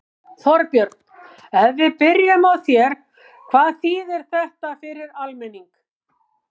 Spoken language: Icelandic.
Þorbjörn, ef við byrjum á þér, hvað þýðir þetta fyrir almenning?